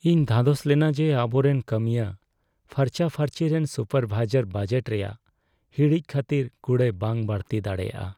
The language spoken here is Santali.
ᱤᱧ ᱫᱷᱟᱫᱚᱥ ᱞᱮᱱᱟ ᱡᱮ ᱟᱵᱚᱨᱮᱱ ᱠᱟᱹᱢᱤᱭᱟᱹ ᱯᱷᱟᱨᱪᱟᱼᱯᱷᱟᱨᱪᱤ ᱨᱮᱱ ᱥᱩᱯᱟᱨᱵᱷᱟᱭᱡᱟᱨ ᱵᱟᱡᱮᱴ ᱨᱮᱭᱟᱜ ᱦᱤᱲᱤᱡ ᱠᱷᱟᱹᱛᱤᱨ ᱠᱩᱲᱟᱹᱭ ᱵᱟᱝ ᱵᱟᱹᱲᱛᱤ ᱫᱟᱲᱮᱭᱟᱜᱼᱟ ᱾